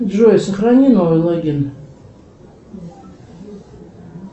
джой сохрани новый логин